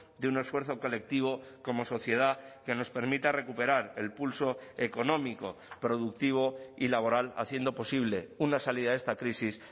de un esfuerzo colectivo como sociedad que nos permita recuperar el pulso económico productivo y laboral haciendo posible una salida de esta crisis